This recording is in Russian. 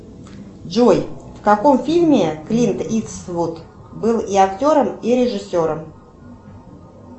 джой в каком фильме клинт иствуд был и актером и режиссером